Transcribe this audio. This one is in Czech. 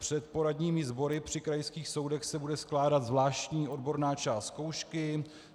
Před poradními sbory při krajských soudech se bude skládat zvláštní odborná část zkoušky.